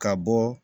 Ka bɔ